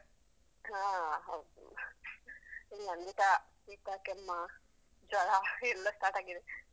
ಆ ಹೌದು ಇಲ್ ನಂಗೆಸ ಶೀತ, ಕೆಮ್ಮ, ಜ್ವರ ಎಲ್ಲ start ಆಗಿದೆ.